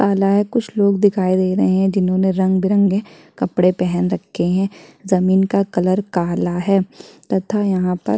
आना है किसी ने लोग दिखाई दे रहे है जिन्होंने रंग-बिरंगेपेन रखे है जमीन का कलर काला है तथा यहाँं पर--